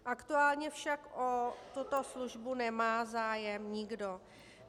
Aktuálně však o tuto službu nemá zájem nikdo.